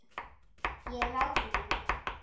Ég er ráðrík.